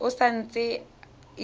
e sa ntse e dira